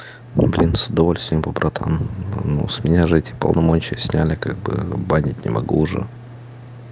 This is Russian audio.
блин с удовольствием бы братан ну с меня же эти полномочия сняли как бы банить не могу уже